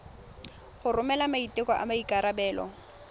go romela maiteko a maikarebelo